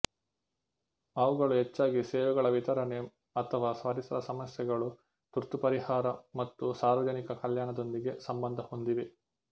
ಅವುಗಳು ಹೆಚ್ಚಾಗಿ ಸೇವೆಗಳ ವಿತರಣೆ ಅಥವಾ ಪರಿಸರ ಸಮಸ್ಯೆಗಳು ತುರ್ತು ಪರಿಹಾರ ಮತ್ತು ಸಾರ್ವಜನಿಕ ಕಲ್ಯಾಣದೊಂದಿಗೆ ಸಂಬಂಧ ಹೊಂದಿವೆ